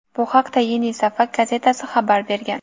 Bu haqda "Yeni Safak" gazetasi xabar bergan.